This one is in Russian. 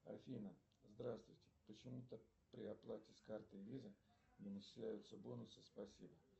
афина здравствуйте почему то при оплате с карты виза не начисляются бонусы спасибо